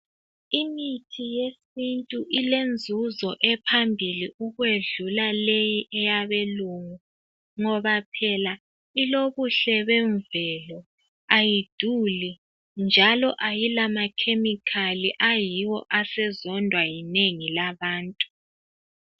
Imithi yesintu ilenzuzo ephambili ukwedlule le eyabelungu ngoba phela ilobuhle bemvelo ayiduli njalo ayila makhemikhali ayiwo asezondwa yinengi labantu .